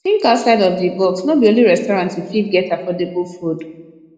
think outside of di box no be only restaurant you fit get affordable food